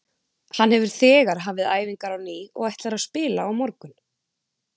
Hann hefur þegar hafið æfingar á ný og ætlar að spila á morgun.